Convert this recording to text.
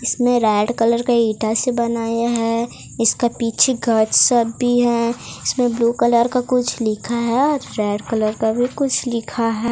इसमें red colour का इटा से बनाया है इसका पीछे का गार्ड साब भी है इसमें ब्लू कलर का कुछ लिखा है और रेड कलर का भी कुछ लिखा है।